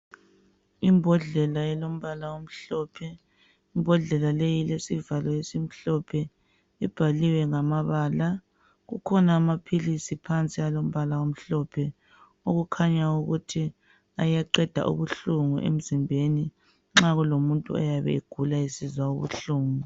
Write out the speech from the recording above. Imbodlela elombala omhlophe imbodlela leyi ilesivalo esimhlophe ibhaliwe ngamabala kukhona amaphilisi phansi alompala omhlophe okukhanya ukuthi ayaqeda ubuhlungu emzimbeni nxa kulomuntu oyabe egula esizwa ubuhlungu.